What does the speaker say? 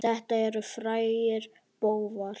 Þetta eru frægir bófar.